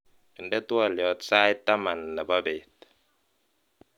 inde twolyot sait taman nebo beet